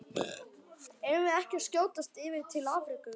Eigum við ekki að skjótast yfir til Afríku?